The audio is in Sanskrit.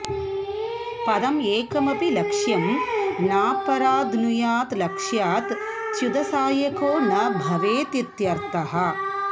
पदं एकमपि लक्ष्यं नापराध्नुयात् लक्ष्यात् च्युतसायको न भवेदित्यर्थः